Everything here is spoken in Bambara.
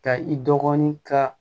Ka i dɔgɔnin ka